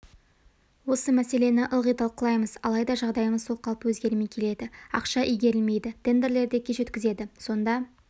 осы мәселені ылғи талқылаймыз алайда жағдайымыз сол қалпы өзгермей келеді ақша игерілмейді тендерлерді кеш өткізеді сонда